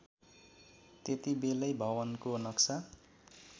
त्यतिबेलै भवनको नक्सा